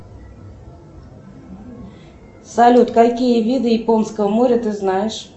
салют какие виды японского моря ты знаешь